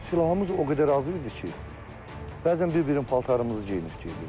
Silahımız o qədər az idi ki, bəzən bir-birinin paltarımızı geyinib gedirdik.